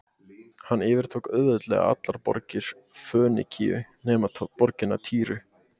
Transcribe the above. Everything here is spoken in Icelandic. Hann yfirtók auðveldlega allar borgir Fönikíu nema borgina Týru.